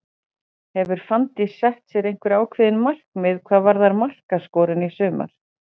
Hefur Fanndís sett sér einhver ákveðin markmið hvað varðar markaskorun í sumar?